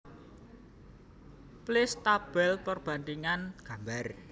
Place Tabel perbandhingan gambar